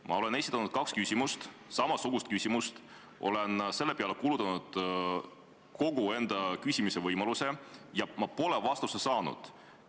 Ma olen esitanud kaks küsimust, kaks samasugust küsimust, olen nende peale kulutanud mõlemad küsimisvõimalused, kuid vastust ma saanud ei ole.